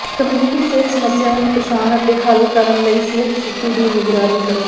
community ਸਿਹਤ ਸਮੱਸਿਆਵਾਂ ਦੀ ਪਛਾਣ ਅਤੇ ਹੱਲ ਕਰਨ ਲਈ ਸਿਹਤ ਸਥਿਤੀ ਦੀ ਨਿਗਰਾਨੀ ਕਰੋ